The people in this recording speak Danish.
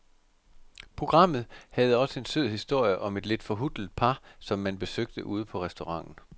Programmet havde også en sød historie om et lidt forhutlet par, som man besøgte ude på restauranten.